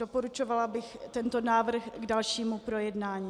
Doporučovala bych tento návrh k dalšímu projednání.